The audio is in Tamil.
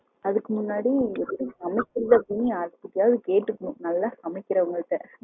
அதுக்கு முன்னாடி சமைக்கிறதுக்கு யாருகிட்டையாவது கேட்டுக்கணும் நல்லா சமைக்கிறவுங்க கிட்ட